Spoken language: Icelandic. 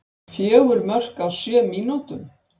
Fjögur mörk á sjö mínútum!